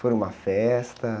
Foi numa festa?